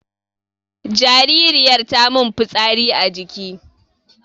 jaririyar tamin fitsari a jiki